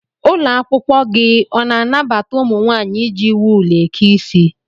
Ụlọakwụkwọ gị ọ na-anabata ụmụ nwaanyị iji wul eke isi?